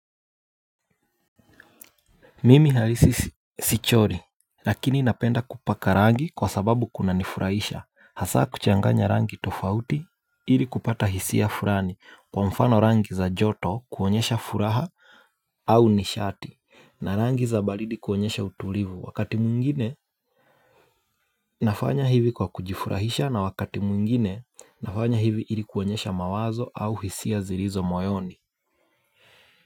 Mimi halisi sichori lakini napenda kupaka rangi kwa sababu kuna nifurahisha hasa kuchanganya rangi tofauti ili kupata hisia furani kwa mfano rangi za joto kuonyesha furaha au nishati na rangi za balidi kuonyesha utulivu wakati mungine nafanya hivi kwa kujifurahisha na wakati mwingine nafanya hivi ili kuonyesha mawazo au hisia zilizo moyoni.